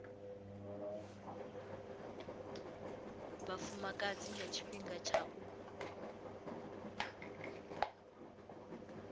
vhafumakadzi nga tshifhinga tsha u